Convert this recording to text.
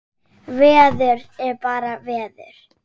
Veður er bara veður.